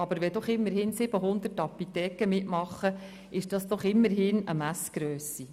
Aber wenn immerhin 700 Apotheken mitmachen, ist das doch eine Messgrösse.